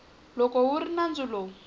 loko wu ri nandzu lowu